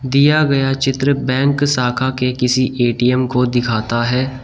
दिया गया चित्र बैंक साखा के किसी ए_टी_एम को दिखाता है।